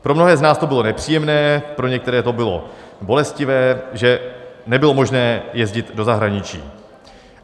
Pro mnohé z nás to bylo nepříjemné, pro některé to bylo bolestivé, že nebylo možné jezdit do zahraničí.